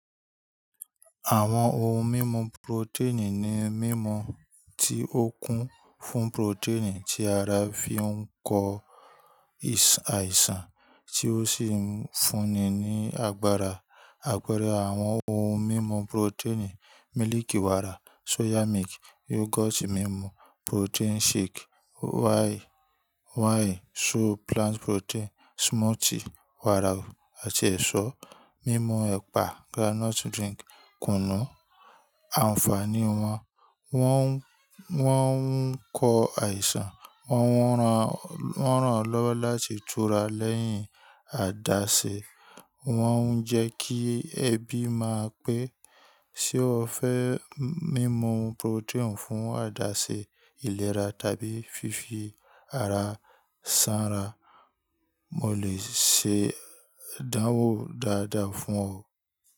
Àwọn ohun mímu protein ni mímu tí ó kún fún protein tí ará fi ń kọ àìsàn, tí ó sì ń fúnni ní agbára. Àpẹẹrẹ àwọn ohun mímu protein: mílíkì wàrà, soya milk, yogurt mímu, protein shake, whey, soy, plant protein, smoothie wàrà àti ẹ̀ṣọ́, mímu ẹ̀pà, groundnut drink, kùnú. Ànfàní wọn: Wọ́n ń kọ àìsàn, wọ́n ràn ọ́ lọ́wọ́ láti tura lẹ́yìn àdáse, wọ́n ń jẹ́ kí ẹbí máa pé. Ṣé o fẹ́ mímu protein fún àdáse ìlera tàbí fífi ara sanra? Mo lè ṣe ìdánwò dáadáa fún ọ o.